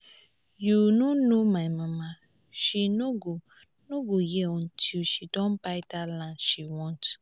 you no know my mama she no go no go hear until she don buy dat land she want